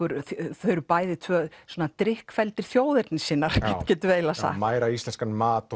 þau eru bæði tvö svona þjóðernissinnar getum við eiginlega sagt mæra íslenskan mat og